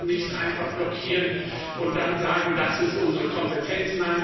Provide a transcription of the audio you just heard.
Da kann man nicht einfach blockieren und dann sagen, das ist unsere Kompetenz.